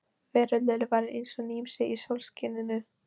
Veröldin var eins og nýsmíði í sólskininu.